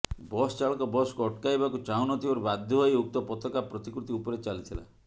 ବସଚାଳକ ବସକୁ ଅଟକାଇବାକୁ ଚାହୁଁନଥିବାରୁ ବାଧ୍ୟ ହୋଇ ଉକ୍ତ ପତାକା ପ୍ରତିକୃତି ଉପରେ ଚାଲିଥିଲା